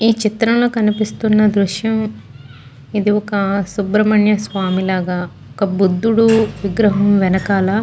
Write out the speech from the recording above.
ఈ చిత్రం లో కనిపిస్తున్న దృశ్యం ఇది ఒక సుబ్రమయ్య స్వామి లాగా ఒక బుద్ధుడి విగ్రహం వెనకాల --